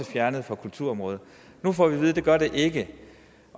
fjernet på kulturområdet nu får vi at vide at det gør det ikke